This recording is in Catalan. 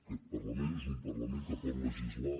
aquest parlament és un parlament que pot legislar